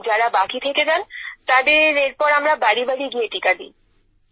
যারা বাকি থেকে যান তাদের এরপর আমরা বাড়ি বাড়ি গিয়ে টীকা দিই